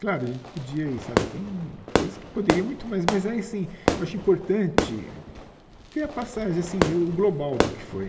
Claro, a gente podia e sabe tem coisas que poderia muito mais, mas aí sim acho importante ter a passagem, assim o global do que foi.